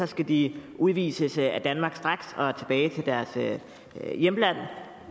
skal de udvises af danmarks straks og tilbage til deres hjemland